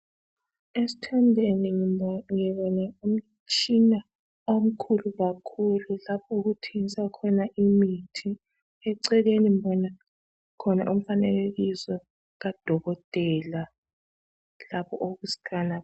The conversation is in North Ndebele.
Esithombeni ngibona umtshina omkhulu kakhulu lapho okuthengiswa khona imithi. Eceleni mbona khona umfanekiso kadokotela lapho okuskana.